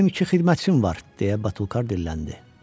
Mənim iki xidmətçim var, deyə Batulkar dilləndi.